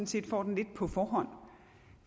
set får den lidt på forhånd